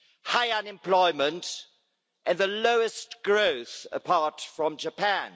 high unemployment and the lowest growth apart from Japan.